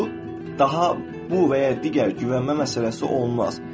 Bu daha bu və ya digər güvənmə məsələsi olmaz.